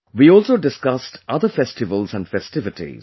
We also discussed other festivals and festivities